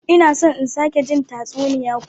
Ina son in sake jin tatsuniya kuma.